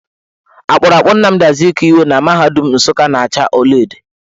Akpụrụakpụ Namdị Azikiwe na mahadum Nsukka na acha ọlaedo.